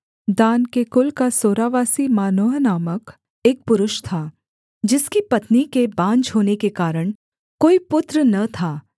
दान के कुल का सोरावासी मानोह नामक एक पुरुष था जिसकी पत्नी के बाँझ होने के कारण कोई पुत्र न था